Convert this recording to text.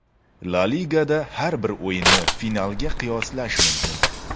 La Ligada har bir o‘yinni finalga qiyoslash mumkin.